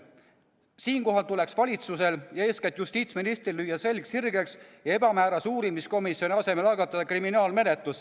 Siinkohal tuleks valitsusel ja eeskätt justiitsministril lüüa selg sirgeks ja ebamäärase uurimiskomisjoni loomise asemel algatada kriminaalmenetlus.